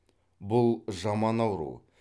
бұл жаман ауру